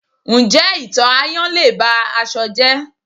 Ǹjẹ́ ito ayan lé e ba aṣọ jẹ́?